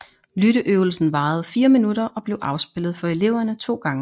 Lytteøvelsen varede fire minutter og blev afspillet for eleverne to gange